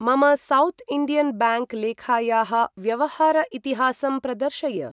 मम south Indian bank लेखायाः व्यवहार इतिहासं प्रदर्शय।